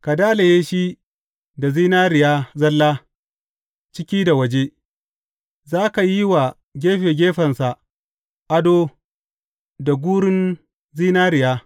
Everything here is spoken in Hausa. Ka dalaye shi da zinariya zalla ciki da waje, za ka yi wa gefe gefensa ado da gurun zinariya.